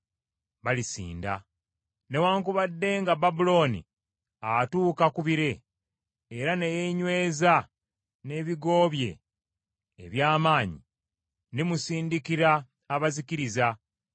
Newaakubadde nga Babulooni atuuka ku bire era ne yeenyweza n’ebigo bye eby’amaanyi, ndimusindikira abazikiriza,” bw’ayogera Mukama .